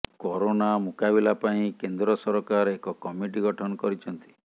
corona ମୁକାବିଲା ପାଇଁ କେନ୍ଦ୍ର ସରକାର ଏକ କମିଟି ଗଠନ କରିଛନ୍ତି